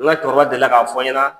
Ŋa cɛkɔrɔba delila k'a fɔ ɲɛna